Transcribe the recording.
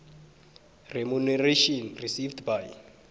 remuneration received by